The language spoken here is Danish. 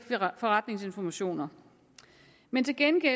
forretningsinformationer men til gengæld